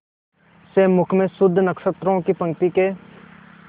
से मुख में शुद्ध नक्षत्रों की पंक्ति के